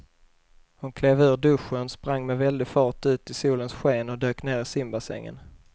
Hon klev ur duschen, sprang med väldig fart ut i solens sken och dök ner i simbassängen.